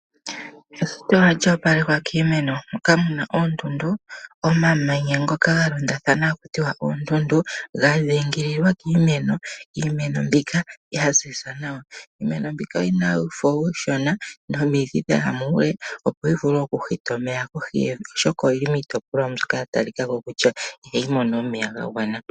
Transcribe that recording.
Eshito ohali opalekwa kiimeno moka muna oondundu , omamanya ngoka ngalondathana hakutiwa oondundu ngadhingililwa kiimeno, iimeno mbika yaziza nawa, iimeno mbika oyina uufo ushona nomidhi dhaya muule opo yivule okuhita omeya kohi yevi oshoka oyili mitopolwa mbyoka yatalikako kutya ihayimono omeya ngangwana.